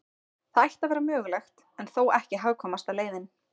Það ætti að vera mögulegt, en þó ekki hagkvæmasta leiðin.